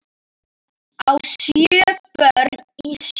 á sjö börn í sjó